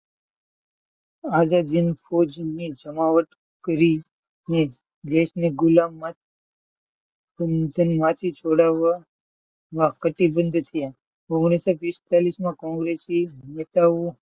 આઝાદ હિન્દ ફોજની જમાવટ કરીને દિવસની ગુલામી માથી છોડાવવા ઓગણીસો પીસતલીસ માં કોંગ્રેસના નેતાઓ,